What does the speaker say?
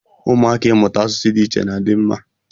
Ụmụaka Ịmụta asụsụ dị iche iche na-adi mma.